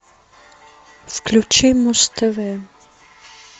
включи муз тв